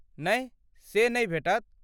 नहि, से नहि भेटत।